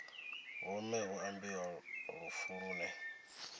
vhomme hu ambiwa lufu lune